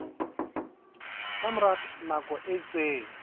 ka mora nako e itseng